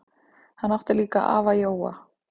Hann átti líka afa Jóa.